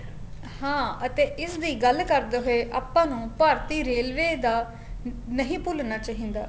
ਹਾਂ ਅਤੇ ਇਸ ਦੀ ਗੱਲ ਕਰਦੇ ਹੋਏ ਆਪਾ ਨੂੰ ਭਾਰਤੀ railway ਦਾ ਨਹੀਂ ਭੁਲਣਾ ਚਾਹੀਦਾ